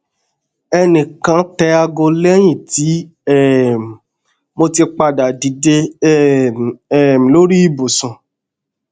ẹnikan tẹ aago lẹyin ti um mo ti pada dide um um lori ibusun